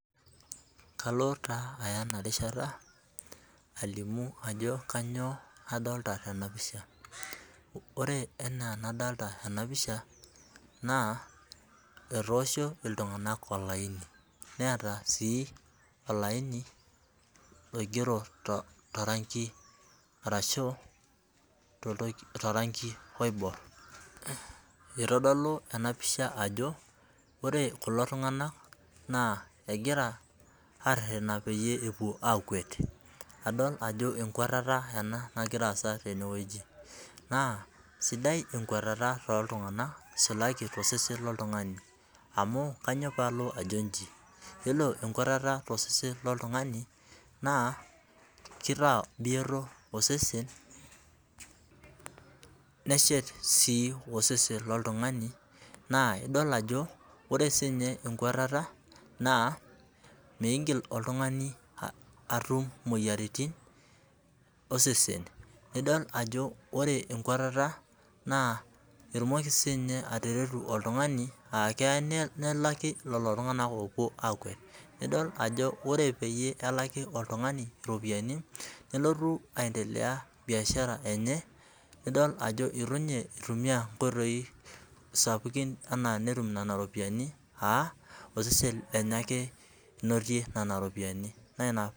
Kalo taa aya enarishata alimu ajo kainyoo adolita tenapisha ,ore enaa enadolita tena pisha etoosho iltunganak olaini neeta sii olaini oingero toranki oibor. itodolu ena pisha ajo ore kulo tunganak naa egira aretena peyie epuo akwet adol ajo ekwetea ena najo peyie elo aasa tene ,naa sidai ekweteta toltunganak aisul tosesen loltungani amu kainyoo pee alo ajo inji ,yiolo enkweteta tosesen loltungani naa kelo aitaa bioto osesen neshet sii osesen loltungani naa idol ajo ,ore sii ninye ekweteta migil oltungani atum moyiaritin osesen ,idol ore ekweteta naa etumoki siininye atareto oltungani aakelo nelaki oltungani ,nelaki lelo tunganak oopuo aakwet. nidol ajo ore peyie elaki oltungani ropiyoani nelotu ,aendelea biashara enye nidol ajo eitu nminye eitumiyia nkoitoki sapukin enaa netum nana roipian aa osesen lenye eke enotie Nena ropiani.